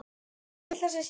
Elsku litla systir.